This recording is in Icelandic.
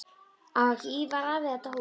Á ekki Ívar afi þetta hús?